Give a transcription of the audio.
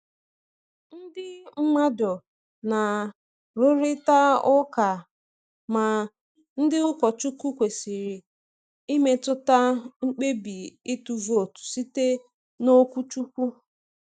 Ndị mmadụ na-arụrịta ụka ma ndị ụkọchukwu kwesịrị imetụta mkpebi ịtụ vootu site n’okwuchukwu.